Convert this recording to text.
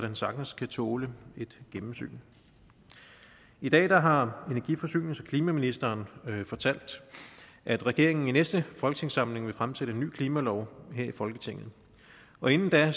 den sagtens kan tåle et gennemsyn i dag har energi forsynings og klimaministeren fortalt at regeringen i næste folketingssamling vil fremsætte en ny klimalov her i folketinget og inden da